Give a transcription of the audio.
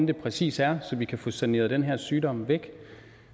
det præcis er så vi kan få saneret den her sygdom væk